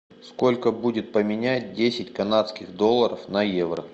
сколько будет поменять десять канадских долларов на евро